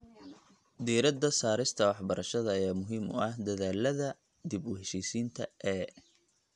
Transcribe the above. Diirada saarista waxbarashada ayaa muhiim u ah dadaallada dib u heshiisiinta ee .